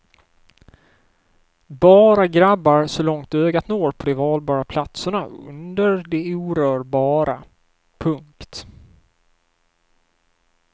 Bara grabbar så långt ögat når på de valbara platserna under de orörbara. punkt